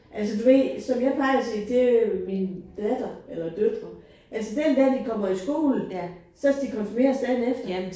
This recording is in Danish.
Altså du ved som jeg plejer at sige til min datter eller døtre altså den dag de kommer i skole så skal de konfirmeres dagen efter